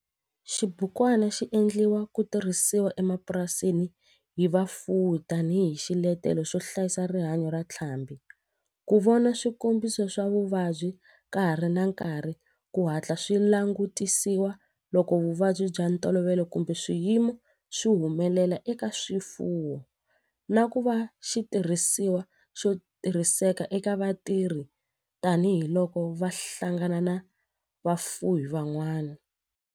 Xibukwana xi endliwe ku tirhisiwa emapurasini hi vafuwi tani hi xiletelo xo hlayisa rihanyo ra ntlhambhi, ku vona swikombiso swa vuvabyi ka ha ri na nkarhi ku hatla swi langutisiwa loko vuvabyi bya ntolovelo kumbe swiyimo swi humelela eka swifuwo, na ku va xitirhisiwa xo tirhiseka eka vatirhi tani hi loko va hlangana na vafuwi van'wana.